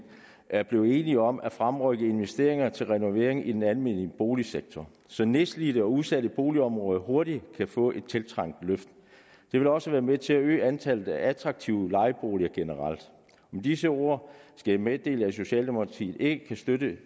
er blevet enige om at fremrykke investeringer til renovering i den almene boligsektor så nedslidte og udsatte boligområder hurtigt kan få et tiltrængt løft det vil også være med til at øge antallet af attraktive lejeboliger generelt med disse ord skal jeg meddele at socialdemokratiet ikke kan støtte